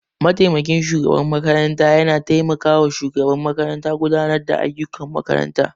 Mataimakin shugaban makaranta ya na taimaka wa shugaban makaranta gudanar da ayyukan makarantar